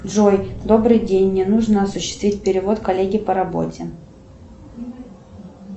джой добрый день мне нужно осуществить перевод коллеге по работе